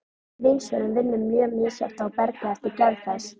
Vindsvörfun vinnur mjög misjafnt á bergi eftir gerð þess.